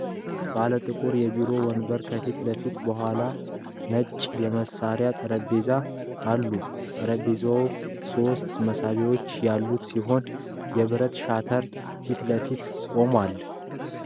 ባለ ጥቁር የቢሮ ወንበር ከፊት ለፊት፣ ከኋላው ነጭ የመሥሪያ ጠረጴዛ አሉ። ጠረጴዛው ሶስት መሳቢያዎች ያሉት ሲሆን የብረት ሻተር ፊት ለፊት ቆሟል።